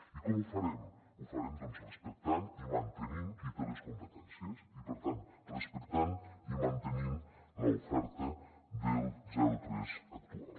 i com ho farem ho farem doncs respectant i mantenint qui té les competències i per tant respectant i mantenint l’oferta del zero tres actual